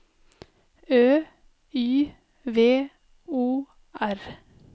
Ø Y V O R